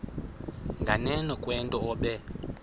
nganeno kwento obe